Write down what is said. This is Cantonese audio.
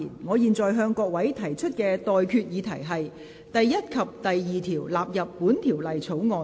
我現在向各位提出的待決議題是：第1及2條納入本條例草案。